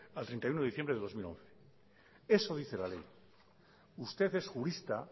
al treinta y uno de diciembre de dos mil once eso dice la ley usted es jurista